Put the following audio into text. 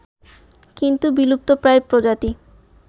কিন্তু বিলুপ্তপ্রায় প্রজাতি